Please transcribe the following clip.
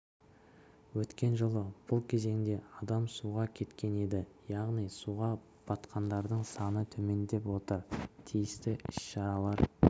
өткен жылы бұл кезеңде адам суға кеткен еді яғни суға батқандардың саны төмендеп отыр тиісті іс-шаралар